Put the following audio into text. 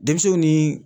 Denmisɛnw ni